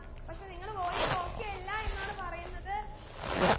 പക്ഷെ നിങ്ങൾ voice okay യെല്ലാ എന്നാണ് പറയുന്നത്